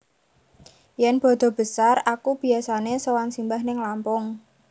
Yen bodo besar aku biasane sowan simbah ning Lampung